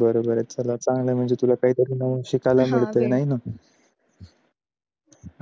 बरोबर तुला चांगला आहे तुला काहीतरी नवीन शिकायला मिळतं न